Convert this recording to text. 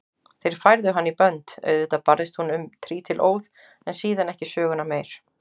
Þeir færðu hana í bönd, auðvitað barðist hún um trítilóð en síðan ekki söguna meir.